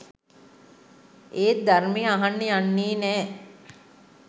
ඒත් ධර්මය අහන්න යන්නේ නෑ.